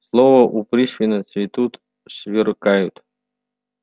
слова у пришвина цветут сверкают